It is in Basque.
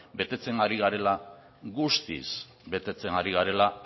betetzen ari garela guztiz betetzen ari garela